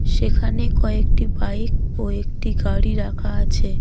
সেখানে কয়েকটি বাইক ও একটি গাড়ি রাখা আছে.